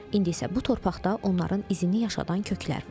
İndi isə bu torpaqda onların izini yaşadan köklər var.